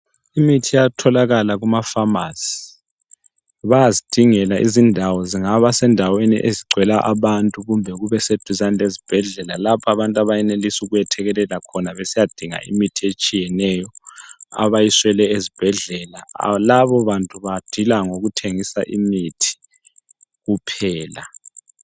imithi iyatholakala kuma phamarcy bayazidingela izindawo kungaba sendaweni ezigcwele abantu kumnbe kubeseduzane lezibhedlela lapho abantu abenelisa ukwethekelela khona besiyadinga imithi etshiyeneyo abayiswele ezibhedlela labo bantu badila ngokuthengisa imithi kuphela